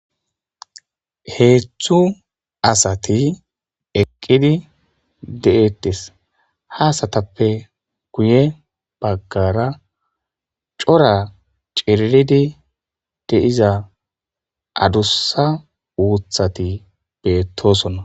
Hedzu assati eqidi dettesi, ha assatappe guye bagara coora cililidi deyiza adusa uthati betossona